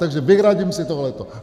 Takže vyhradím si tohleto.